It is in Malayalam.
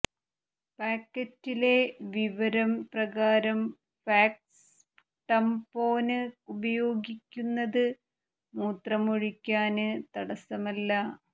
പാക്കറ്റിലെ വിവരം പ്രകാരം ഫാക്സ് ടംപോന് ഉപയോഗിക്കുന്നത് മൂത്രമൊഴിക്കാന് തടസമല്ല